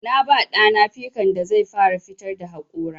Na ba ɗa na pikan da zai fara fitar da haƙora.